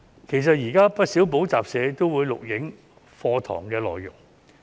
其實，現時有不少補習社也會錄影課堂內容。